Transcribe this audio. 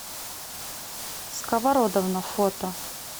сковородовна фото